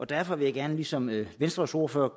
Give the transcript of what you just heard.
derfor vil jeg gerne ligesom venstres ordfører